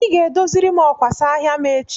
Ị ga-edoziri m ọkwasa ahịa m echi?